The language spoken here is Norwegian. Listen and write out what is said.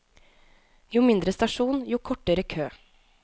Jo mindre stasjon, jo kortere kø.